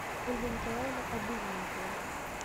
ольга николаевна обыденникова